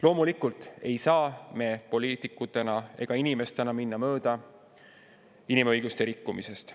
Loomulikult ei saa me poliitikutena ega inimestena minna mööda inimõiguste rikkumisest.